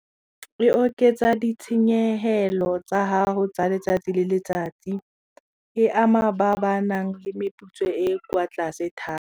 E oketsa ditshenyehelo tsa gago tsa letsatsi le letsatsi e ama ba ba nang le meputso e kwa tlase thata.